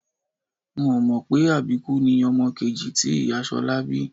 N ò mọ̀ pé àbíkú ni ọmọ kejì tí ìyá Ṣọlá bí